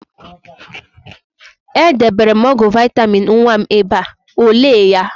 E debere m ọgwụ vaịtamịn nwa m ebe a, o lee ya?